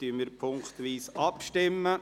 Somit stimmen wir punktweise ab.